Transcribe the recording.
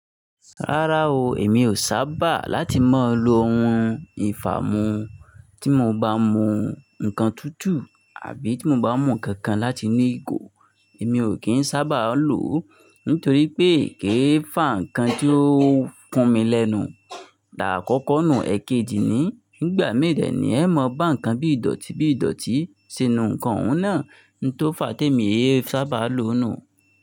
Rárá o, èmi ò sábà láti máa lo ohun ìfámú tí mo bá mú nǹkan tútù àbí tí mo bá mú nǹkan kan láti nu ìgò, èmi ò kí ń sábà lò ó nítorí pé kìí fà nkàn tí ó kún mi lẹ́nu. T'àákọ́kọ́ nù, èkejì ni n gbà mìí dẹ ni ẹ mọ bá nǹkan bí ìdọ̀tí bí ìdọ̀tí si nu nǹkan òun náà n tó fà á tèmi é é sábà lò ó nù.